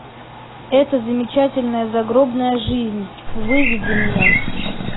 это замечательная загробная жизнь выведи мне